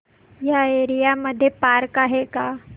या एरिया मध्ये पार्क आहे का